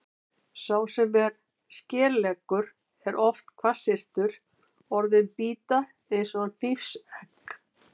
Sá sem er skeleggur er oft hvassyrtur, orðin bíta eins og hnífsegg.